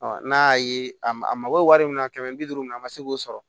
n'a y'a ye a ma a mako bɛ wari min na kɛmɛ bi duuru min na ma se k'o sɔrɔ